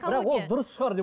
бірақ ол дұрыс шығар деп